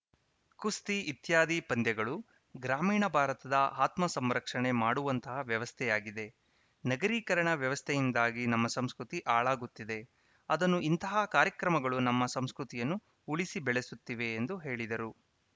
ಕುಸ್ತಿ ಇತ್ಯಾದಿ ಪಂದ್ಯಗಳು ಗ್ರಾಮೀಣ ಭಾರತದ ಆತ್ಮ ಸಂರಕ್ಷಣೆ ಮಾಡುವಂತಹ ವ್ಯವಸ್ಥೆಯಾಗಿದೆ ನಗರೀಕರಣ ವ್ಯವಸ್ಥೆಯಿಂದಾಗಿ ನಮ್ಮ ಸಂಸ್ಕೃತಿ ಹಾಳಾಗುತ್ತಿದೆ ಅದನ್ನು ಇಂತಹ ಕಾರ್ಯಕ್ರಮಗಳು ನಮ್ಮ ಸಂಸ್ಕೃತಿಯನ್ನು ಉಳಿಸಿ ಬೆಳೆಸುತ್ತಿವೆ ಎಂದು ಹೇಳಿದರು